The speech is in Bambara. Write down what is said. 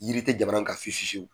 Yiri tɛ jamana in kan fiye fiye fiyew.